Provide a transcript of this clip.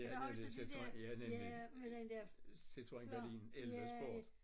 Ja nemlig Citroën ja nemlig Citroën Berlin 11 Sport